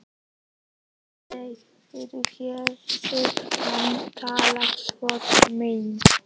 Aldrei fyrr hafði hann talað svona til mín.